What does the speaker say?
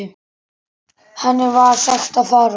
Henni var sagt að fara.